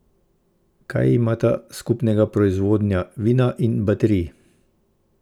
Kaj imata skupnega proizvodnja vina in baterij?